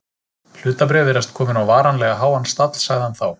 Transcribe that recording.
Hlutabréf virðast komin á varanlega háan stall sagði hann þá.